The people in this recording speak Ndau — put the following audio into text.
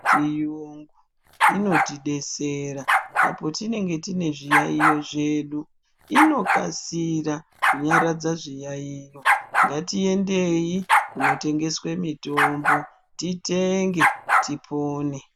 Mitombo yechiyungu inotidetsera apo tinenge tine zviyayiyo zvedu inokasira kunyaradza zviyayiyo ngatiendeyi kunotengeswe mitombo titenge tipone.